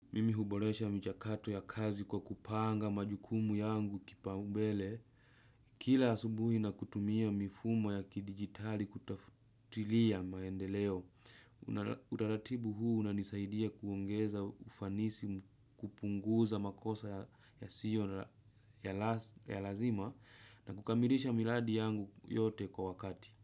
Mimi huboresha michakato ya kazi kwa kupanga majukumu yangu kipaumbele. Kila asubuhi na kutumia mifumo ya kidigitali kutafutilia maendeleo. Utaratibu huu unanisaidia kuongeza ufanisi kupunguza makosa yasiyo na ya lazima na kukamirisha miradi yangu yote kwa wakati.